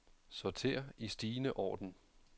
Sorter i stigende orden.